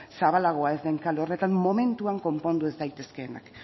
zabalagoa ez den kale horretan momentuan konpondu ez daitezkeenak